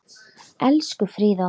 Elsku Fríða okkar.